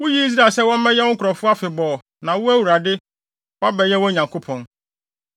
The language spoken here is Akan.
Wuyii Israel sɛ wɔmmɛyɛ wo nkurɔfo afebɔɔ, na wo, Awurade, woabɛyɛ wɔn Nyankopɔn.